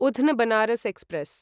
Udhna Banaras express